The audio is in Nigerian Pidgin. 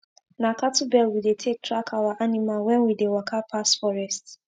na cattle bell we dey take track our animal wen we dey waka pass forest